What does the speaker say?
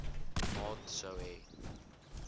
maat sou hê